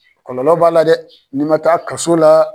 Kɔlɔlɔ b'a la dɛ n'i ma taa kaso la